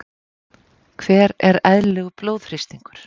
Hver er eðlilegur blóðþrýstingur?